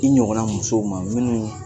I ɲɔgɔnna musow ma minnu